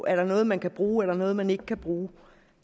er noget man kan bruge eller noget man ikke kan bruge